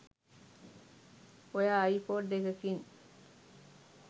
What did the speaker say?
ඔයා අයිපොඩ් එකකින්